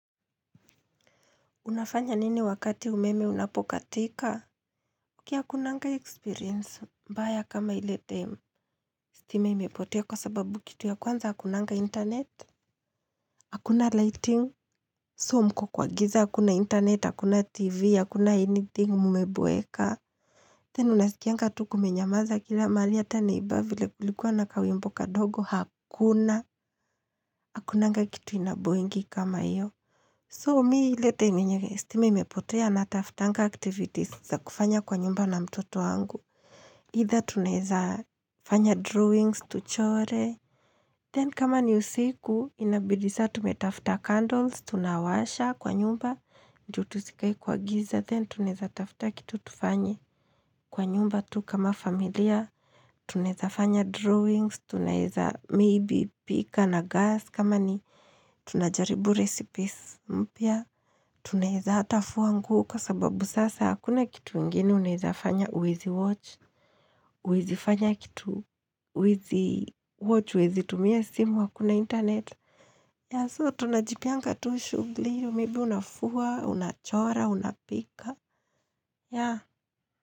Unafanya nini wakati umeme unapokatika? Ki akunanga experience, mbaya kama ile time. Stima imepotea kwa sababu kitu ya kwanza, akunanga internet. Hakuna lighting, so mko kwa giza, hakuna internet, hakuna TV, hakuna anything mmeboeka. Tena unasikianga tu kumenyamaza kila mahali ata ni ba vile kulikua na kawimbo kadogo, hakuna. Hakunanga kitu inaboyingi kama iyo. So, mii ile time yenye stima imepotea nataftanga activities za kufanya kwa nyumba na mtoto wangu. Either tunaeza fanya drawings, tuchore. Then, kama ni usiku, inabidi sa tumetafta candles. Tunawasha kwa nyumba. Ndio tusikae kwa giza. Then, tunaeza tafta kitu tufanye kwa nyumba tu kama familia. Tuneza fanya drawings. Tunaeza maybe pika na gas. Kama ni tunajaribu recipes mpya. Tunaeza ata fua nguo kwa sababu sasa akuna kitu ingine unaezafanya huwezi watch huwezi fanya kitu huwezi watch, huwezi tumia simu hakuna internet Yeah so tunajipeanga tu shughli maybe unafua, unachora, unapika yeah.